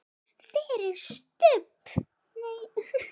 En sú gjörð lifir ekki.